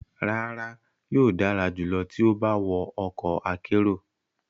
Rara, yoo dara julọ ti o ba wọ ọkọ akero